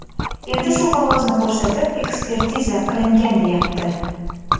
Endi shu qog‘ozni ko‘rsatib, ekspertiza qilingan deyapti.